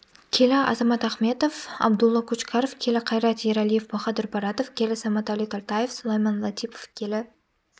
келі азат махметов абдулло кучкаров келі қайрат ералиев баходир баратов келі саматали тольтаев сулаймон латипов келі